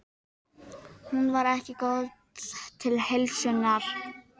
Hún var ekki góð til heilsunnar.